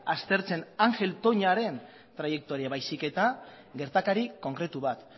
aztertzen ángel toñaren traiektoria baizik eta gertakari konkretu bat